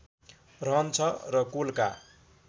रहन्छ र कुलका